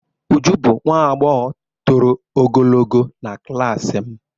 Uju bụ nwa agbọghọ toro ogologo na klas m.